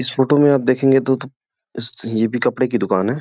इस फोटो में आप देखगे तो इस यह भी कपड़े की दुकान है।